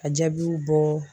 A jaabiw bɔ